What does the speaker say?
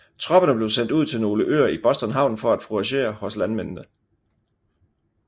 Tropperne blev sendt ud til nogle øer i Boston havn for at fouragere hos landmændene